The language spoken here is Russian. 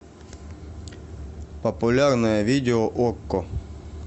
популярное видео окко